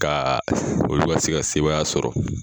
Ka olu ka se ka sebaaya sɔrɔ